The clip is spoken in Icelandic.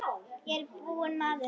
Ég er ekki búinn maður!